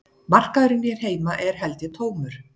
Markaðurinn hér heima er held ég tómur